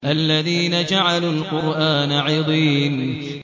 الَّذِينَ جَعَلُوا الْقُرْآنَ عِضِينَ